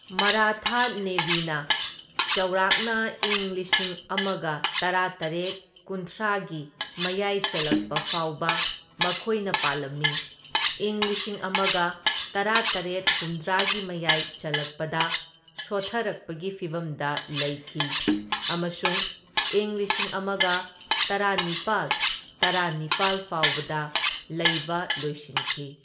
ꯃꯔꯥꯊ ꯅꯦꯚꯤꯅ ꯆꯥꯎꯔꯥꯛꯅ ꯢꯪ ꯂꯤꯁꯤꯡ ꯑꯃꯒ ꯇꯔꯥꯇꯔꯦꯠ ꯀꯨꯟꯊ꯭ꯔꯥꯒꯤ ꯃꯌꯥꯏ ꯆꯜꯂꯛꯄ ꯐꯥꯎꯕ ꯃꯈꯣꯏꯅ ꯄꯥꯜꯂꯝꯃꯤ, ꯢꯪ ꯂꯤꯁꯤꯡ ꯑꯃꯒ ꯇꯔꯥꯇꯔꯦꯠ ꯍꯨꯝꯗ꯭ꯔꯥꯒꯤ ꯃꯌꯥꯏ ꯆꯜꯂꯛꯄꯗ ꯁꯣꯠꯊꯔꯛꯄꯒꯤ ꯐꯤꯚꯝꯗ ꯂꯩꯈꯤ ꯑꯃꯁꯨꯡ ꯢꯪ ꯂꯤꯁꯤꯡ ꯑꯃꯒ ꯇꯔꯥꯅꯤꯄꯥꯜ ꯇꯔꯥꯅꯤꯄꯥꯜ ꯐꯥꯎꯕꯗ ꯂꯩꯕ ꯂꯣꯏꯁꯤꯟꯈꯤ꯫